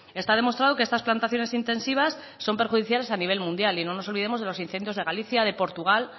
está demostrado que estas plantaciones intensivas son perjudiciales a nivel mundial y no nos olvidemos de los incendios de galicia de portugal